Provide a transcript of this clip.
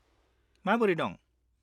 -माबोरै दं?